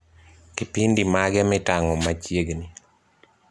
Kipindi mage mitango machiegni